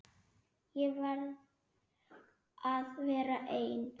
Ég verð að vera ein.